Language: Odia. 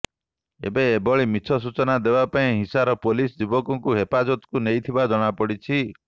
ଏବେ ଏଭଳି ମିଛ ସୂଚନା ଦେବା ପାଇଁ ହିସାର ପୁଲିସ ଯୁବକଙ୍କୁ ହେପାଜତକୁ ନେଇଥିବା ଜଣାପଡ଼ିଛି